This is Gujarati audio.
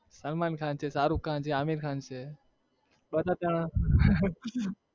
સલમાન ખાન છે, સારુખ ખાન છે, આમીર ખાન છે